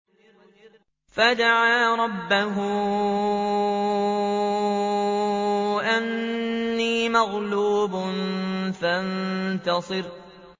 فَدَعَا رَبَّهُ أَنِّي مَغْلُوبٌ فَانتَصِرْ